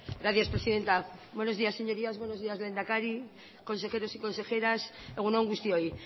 gracias presidenta buenos días señorías buenos días lehendakari consejeros y consejeras egun on guztioi